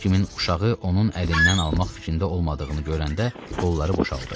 Heç kimin uşağı onun əlindən almaq fikrində olmadığını görəndə qolları boşaldı.